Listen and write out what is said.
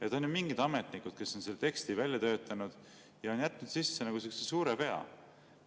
Need on ju mingid ametnikud, kes on selle teksti välja töötanud ja on jätnud sisse suure vea.